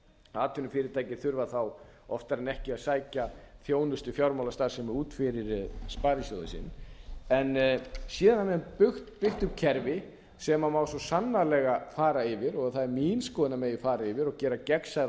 atvinnufyrirtækin þurfa þá oftar en ekki að sækja þjónustu fjármálastarfsemi út fyrir sparisjóðinn sinn síðan hafa menn byggt upp kerfi sem má svo sannarlega fara yfir og það er mín skoðun að það megi fara yfir og gera gegnsærra og